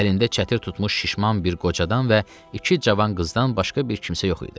Əlində çətir tutmuş şişman bir qocadan və iki cavan qızdan başqa bir kimsə yox idi.